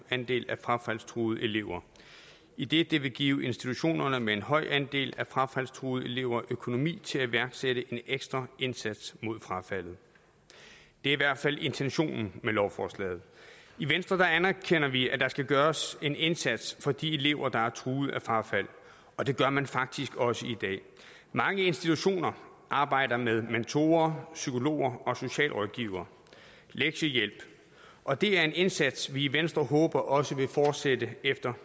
andel af frafaldstruede elever idet det vil give institutionerne med en høj andel af frafaldstruede elever økonomi til at iværksætte en ekstra indsats mod frafaldet det er i hvert fald intentionen med lovforslaget i venstre anerkender vi at der skal gøres en indsats for de elever der er truet af frafald og det gør man faktisk også i dag mange institutioner arbejder med mentorer psykologer socialrådgivere og lektiehjælp og det er en indsats vi i venstre håber også vil fortsætte efter